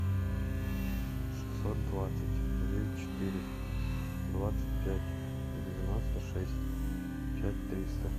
шестьсот двадцать девять четыре двадцать пять девяносто шесть пять триста